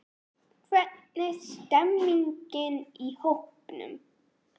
Hvernig stemmningin í hópnum?